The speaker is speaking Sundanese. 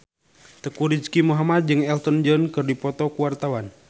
Teuku Rizky Muhammad jeung Elton John keur dipoto ku wartawan